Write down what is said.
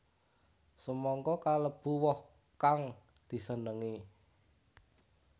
Semangka kalebu woh kang disenengi